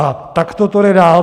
A takto to jde dál.